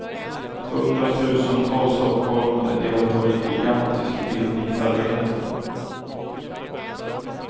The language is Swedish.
Hundratusentals stockholmare deltar i ett gigantiskt bildningsarbete.